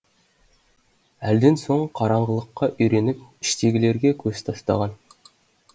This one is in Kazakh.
әлден соң қараңғылыққа үйреніп іштегілерге көз тастаған